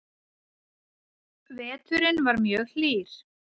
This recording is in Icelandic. Veturinn var mjög hlýr